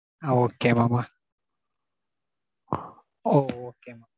Ah okay mam. okay.